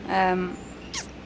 en